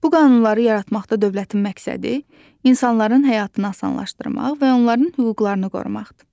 Bu qanunları yaratmaqda dövlətin məqsədi insanların həyatını asanlaşdırmaq və onların hüquqlarını qorumaqdır.